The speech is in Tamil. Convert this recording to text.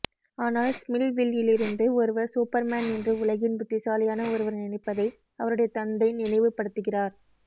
ஆனால் ஸ்மில்வில்யிலிருந்து ஒருவர் சூப்பர்மேன் என்று உலகின் புத்திசாலியான ஒருவர் நினைப்பதை அவருடைய தந்தை நினைவுபடுத்துகிறார்